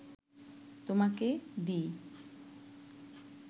তোমাকে দিই